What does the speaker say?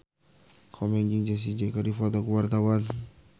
Komeng jeung Jessie J keur dipoto ku wartawan